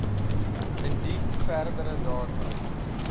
indien verdere data